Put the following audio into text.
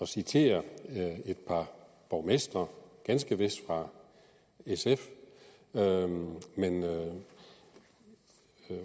citere et par borgmestre ganske vist fra sf men